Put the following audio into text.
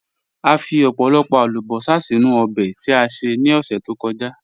À fí ọ̀pọ̀lọ̀pọ̀ àlùbọ́sà sínu òbè tí a ṣè ní ọṣẹ̀ tó kọ̀já.